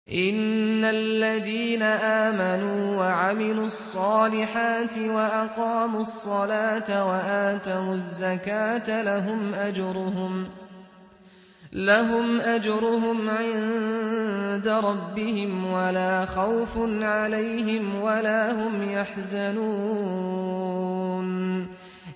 إِنَّ الَّذِينَ آمَنُوا وَعَمِلُوا الصَّالِحَاتِ وَأَقَامُوا الصَّلَاةَ وَآتَوُا الزَّكَاةَ لَهُمْ أَجْرُهُمْ عِندَ رَبِّهِمْ وَلَا خَوْفٌ عَلَيْهِمْ وَلَا هُمْ يَحْزَنُونَ